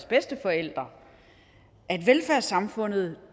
bedsteforældre at velfærdssamfundet